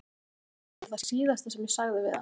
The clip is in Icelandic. Það var um það bil það síðasta sem ég sagði við hann.